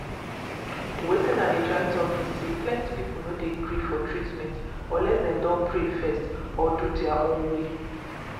wetin i dey try talk be say plenty people no dey agree for treatment unless dem don first pray or do their own way.